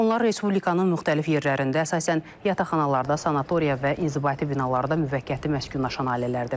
Onlar Respublikanın müxtəlif yerlərində, əsasən yataqxanalarda, sanatoriya və inzibati binalarda müvəqqəti məskunlaşan ailələrdir.